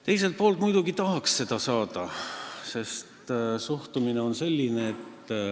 Teiselt poolt tahaks muidugi raha saada, suhtumine on selline.